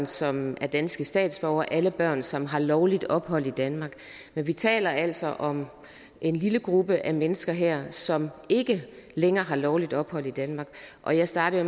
som er danske statsborgere alle børn som har lovligt ophold i danmark men vi taler altså om en lille gruppe af mennesker her som ikke længere har lovligt ophold i danmark og jeg startede